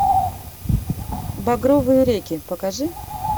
багровые реки покажи